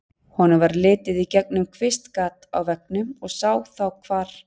Honum varð litið í gegnum kvistgat á veggnum og sá þá hvar